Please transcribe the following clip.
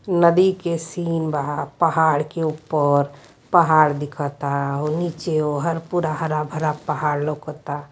नदी के सीन बा पहाड़ के ऊपर पहाड़ दिख ता ओहि नीचे वहर पूरा हरा-भरा पहाड़ लौकता --